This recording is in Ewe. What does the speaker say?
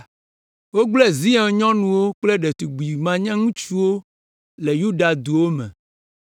Wogblẽ Zion nyɔnuwo kple ɖetugbi manyaŋutsuwo le Yuda duwo me.